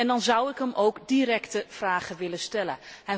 Dan zou ik hem directe vragen willen stellen.